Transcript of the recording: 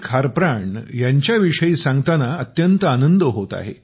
खारप्राण ह्याच्या विषयी सांगताना अत्यंत आनंद होत आहे